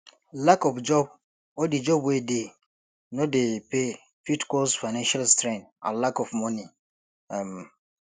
lack of job or di job wey dey no dey pay fit cause finanial strain and lack of money um